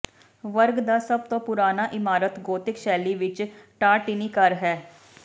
ਵਰਗ ਦਾ ਸਭ ਤੋਂ ਪੁਰਾਣਾ ਇਮਾਰਤ ਗੋਤਿਕ ਸ਼ੈਲੀ ਵਿਚ ਟਾਰਟੀਨੀ ਘਰ ਹੈ